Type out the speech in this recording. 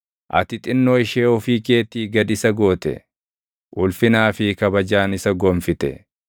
Ati xinnoo ishee ofii keetii gad isa goote; ulfinaa fi kabajaan isa gonfite.